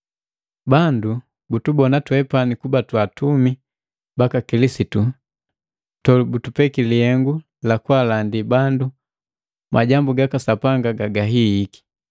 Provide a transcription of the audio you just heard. Bandu butubona twepani kuba twa atumi baka Kilisitu tobutupeki lihengu lakaalandi bandu majambu gaka Sapanga gagahihiiki.